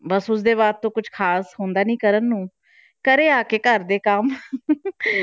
ਬਸ ਉਸਦੇ ਬਾਅਦ ਤੋਂ ਕੁਛ ਖ਼ਾਸ ਹੁੰਦਾ ਨੀ ਕਰਨ ਨੂੰ, ਘਰੇ ਆ ਕੇ ਘਰ ਦੇ ਕੰਮ